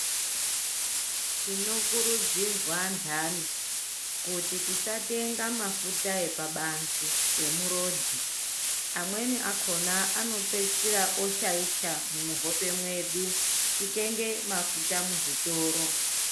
Tinokurudzirwa antani kuti tisatenga mafuta epabanze emurodhi amweni akona anopedzisira oshaisha muhope mwedu titenge mafuta muzvitoro.